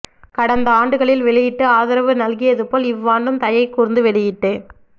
கடந்த ஆண்டுகளில் வெளியிட்டு ஆதரவு நல்கியது போல் இவ்வாண்டும் தயை கூர்ந்து வெளியிட்டு